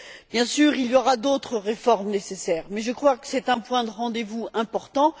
Bien sûr, il y aura d'autres réformes nécessaires, mais je crois que c'est un point de rendez vous important.